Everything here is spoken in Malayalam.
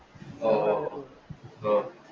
ഓ, ഓ, ഒ